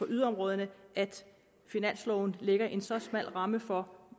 yderområderne at finansloven lægger en så smal ramme for